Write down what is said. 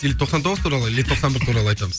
или тоқсан тоғыз туралы или тоқсан бір туралы айтамыз